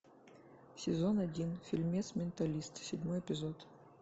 сезон один фильмец менталист седьмой эпизод